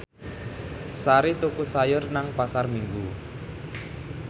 Sari tuku sayur nang Pasar Minggu